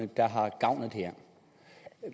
der har gavn af det her